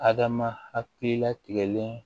Adama hakili latigɛlen